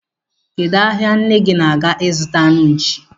Kedụ ahia nne gi na-aga ịzụta anụ nchi?